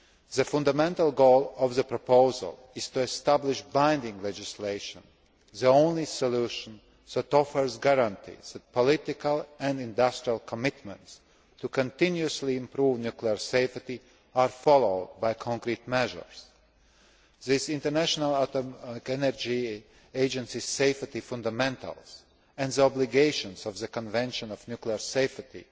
The fundamental goal of the proposal is to establish binding legislation, the only solution that offers guarantees that political and industrial commitments to continuously improve nuclear safety are followed by concrete measures. These International Atomic Energy Agency Safety Fundamentals and the obligations of the Convention of Nuclear Safety